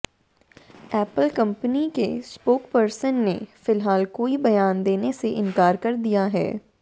Apple company के spokesperson ने फिलहाल कोई बयान देने से इंकार कर दिया है